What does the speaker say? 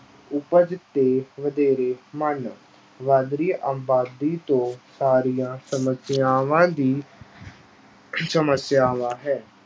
ਉਪਜ ਤੇ ਵਧੇਰੇ ਵੱਧ ਰਹੀ ਆਬਾਦੀ ਤੋਂ ਸਾਰੀਆਂ ਸਮੱਸਿਆਵਾਂ ਦੀ ਸਮੱਸਿਆਵਾਂ ਹੈ,